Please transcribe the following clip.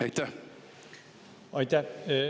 Aitäh!